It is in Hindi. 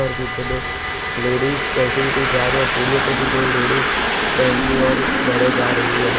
और पीछे दो लेडीज चलती हुई कही जा रही है और सीढ़ियों पे भी दो लेडीज बैंक की ओर बढे जा रही है |